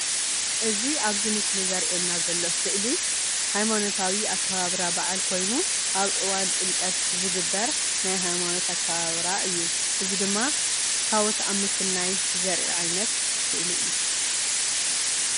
እዚ ኣብዚ ምስሊ ዘርእየና ዘሎ ስእሊ ሃይማኖታዊ ኣከባብራ ባዓል ኮይኑ ኣብ እዋን ጥምቀት ዝግበር ናይ ሃይማኖት ኣከባብራ እዩ። እዚ ድማ ታቦት ኣብ ምስናይ ዘርኢ ዓይነት ስእሊ እዩ።